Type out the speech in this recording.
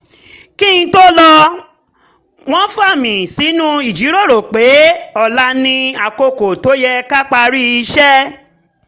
kí n tó lọ wọ́n fa mí sínú ìjíròrò pé ọ̀la ni àkókò tó yẹ ká parí iṣẹ́